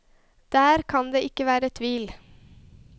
Der kan det ikke være tvil.